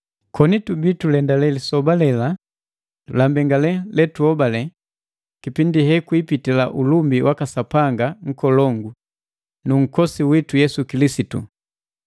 koni tubia tulendale lisoba lela la mbengalelu letuhobale, kipindi hekwiipitila ulumbi waka Sapanga nkolongu nu Nhokosi witu Yesu Kilisitu.